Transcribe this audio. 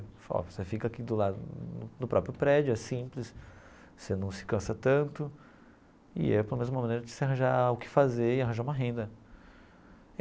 Falou ó, você fica aqui do lado do próprio prédio, é simples, você não se cansa tanto e é pelo menos uma maneira de você arranjar o que fazer e arranjar uma renda.